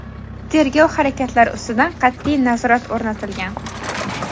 tergov harakatlari ustidan qat’iy nazorat o‘rnatilgan.